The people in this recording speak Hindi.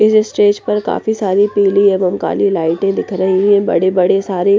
इस स्टेज पर काफी सारी पीली एवं काली लाइटें दिख रही हैं बड़े-बड़े सारे--